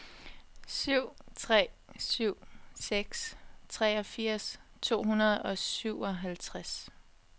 syv tre syv seks treogfirs to hundrede og syvoghalvtreds